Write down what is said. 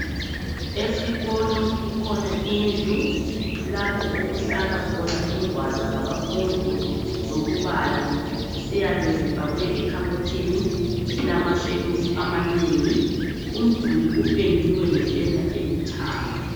Esikolo kukhona indlu lapho okuhlala khona ingwalo zabafundi zokubala ziyabe zifakwe ekhabothi elamashelufu amanengi umduli upendiwe ngependa elithanga.